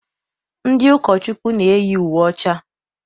Ndị ụkọchukwu na-eyi uwe ọcha.